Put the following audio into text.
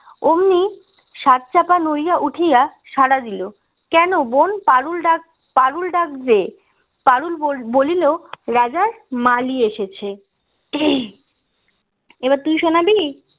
অমনি সাত চাপা নড়িয়া উঠিয়া সাড়া দিল কেন বোন পারুল ডাক পারুল ডাকবে পারুল বল বলিলো রাজার মালি এসেছে এবার তুই শোনাবি